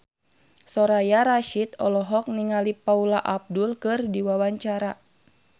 Soraya Rasyid olohok ningali Paula Abdul keur diwawancara